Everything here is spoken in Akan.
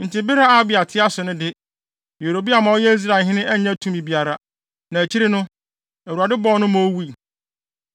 Enti bere a Abia te ase no de, Yeroboam a ɔyɛ Israelhene annya tumi biara, na akyiri no, Awurade bɔɔ no ma owui.